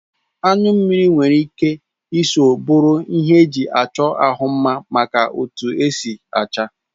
Anyu mmiri nwere ike Isọ bụrụ ihe eji achọ ahụ mma maka etu ọ si acha.